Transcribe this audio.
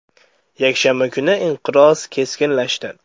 Yakshanba kuni inqiroz keskinlashdi.